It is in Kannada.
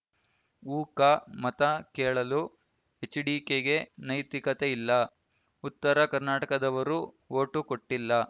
ಉಕ ಮತ ಕೇಳಲು ಎಚ್ಡಿಕೆಗೆ ನೈತಿಕತೆ ಇಲ್ಲ ಉತ್ತರ ಕರ್ನಾಟಕದವರು ಓಟು ಕೊಟ್ಟಿಲ್ಲ